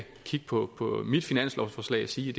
kigge på mit finanslovsforslag og sige